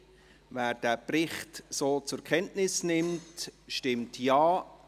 Wer den Bericht so zur Kenntnis nimmt, stimmt Ja,